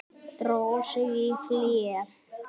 Dró sig í hlé.